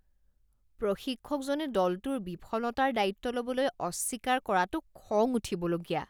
প্ৰশিক্ষকজনে দলটোৰ বিফলতাৰ দায়িত্ব ল'বলৈ অস্বীকাৰ কৰাটো খং উঠিবলগীয়া